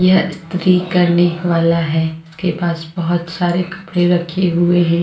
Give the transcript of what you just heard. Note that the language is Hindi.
यह स्त्री करने वाला है उसके पास बहुत सारे कपड़े रखे हुए हैं।